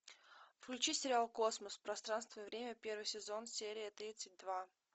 включи сериал космос пространство и время первый сезон серия тридцать два